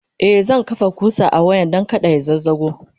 e zan kafa ƙusa a wayan Dan kada ya zazzago